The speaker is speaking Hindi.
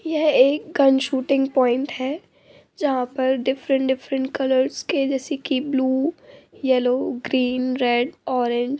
यह एक गन शूटिंग पॉइंट है| जहाँ पर डिफ़्फेरंट डिफ़्फेरंट कलर्स के जैसे कि blue yellow green red orange--